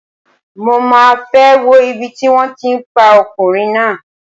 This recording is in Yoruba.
Mo máa fẹ́ wo ibi tí wón ti pa ọkùnrin náà.